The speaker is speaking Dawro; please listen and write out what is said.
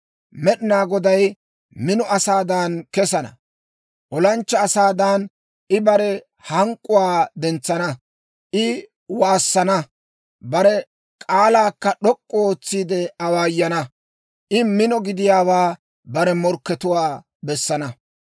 Med'inaa Goday mino asaadan kesana; olanchchaa asaadan, I bare hank'k'uwaa dentsana. I waassana; bare k'aalaakka d'ok'k'u ootsiide awaayana. I mino gidiyaawaa bare morkkatuwaa bessana.